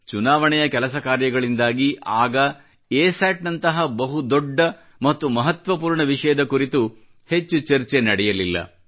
ಚುನಾವಣೆಯ ಕೆಲಸಕಾರ್ಯಗಳಿಂದಾಗಿ ಆಗ ಎಸ್ಯಾಟ್ ನಂತಹ ಬಹು ದೊಡ್ಡ ಮತ್ತು ಮಹತ್ವಪೂರ್ಣ ವಿಷಯದ ಕುರಿತು ಹೆಚ್ಚು ಚರ್ಚೆ ನಡೆಯಲಿಲ್ಲ